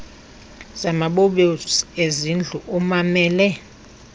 zamabobosi ezindlu ummamele